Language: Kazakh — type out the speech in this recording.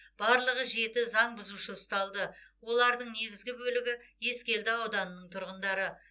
барлығы жеті заң бұзушы ұсталды олардың негізгі бөлігі ескелді ауданының тұрғындары